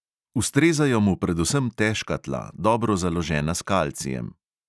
Ustrezajo mu predvsem težka tla, dobro založena s kalcijem.